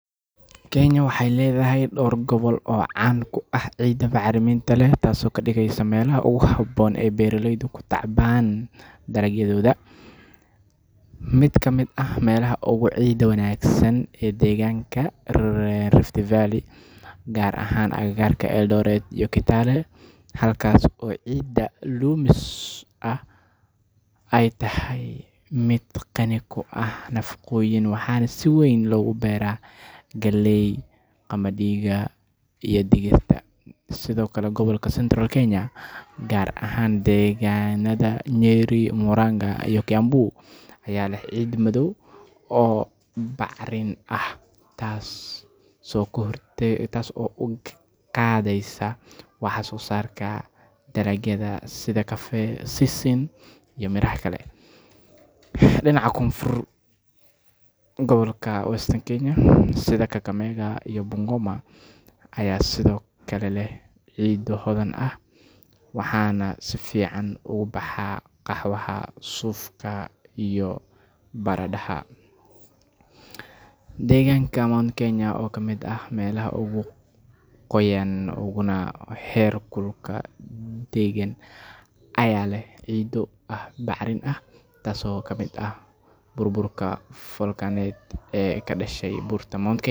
Kenya waxay leedahay dhowr gobol oo caan ku ah ciidda bacrinta leh taasoo ka dhigaysa meelaha ugu habboon ee beeraleydu ku tacbaan dalagyadooda. Mid ka mid ah meelaha ugu ciidda wanaagsan waa deegaanka Rift Valley, gaar ahaan agagaarka Eldoret iyo Kitale, halkaas oo ciidda loamy ah ay tahay mid qani ku ah nafaqooyin waxaana si weyn loogu beeraa galley, qamadiga, iyo digirta. Sidoo kale, gobolka Central Kenya, gaar ahaan deegaannada Nyeri, Murang’a iyo Kiambu, ayaa leh ciiddo madow oo bacrin ah, taasoo kor u qaadaysa wax-soo-saarka dalagyada sida kafee, sisin, iyo miraha kale. Dhinaca koonfureed, gobolka Western Kenya sida Kakamega iyo Bungoma ayaa sidoo kale leh ciiddo hodan ah, waxaana si fiican ugu baxa qaxwaha, suufka, iyo baradhada. Deegaanka Mount Kenya oo ka mid ah meelaha ugu qoyan uguna heerkulka deggan ayaa leh ciiddo aad u bacrin ah, taasoo ka timid burburka foolkaaneed ee ka dhashay buurta Mount Kenya